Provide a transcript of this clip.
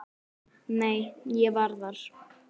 Nei, ég var þar